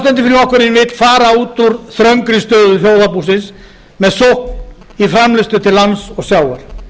frjálslyndi flokkurinn vill fara út úr þröngri stöðu þjóðarbúsins með sókn í framleiðslu til lands og sjávar